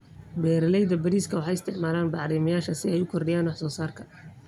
Beeralayda bariiska waxay isticmaalaan bacrimiyeyaasha si ay u kordhiyaan wax soo saarka.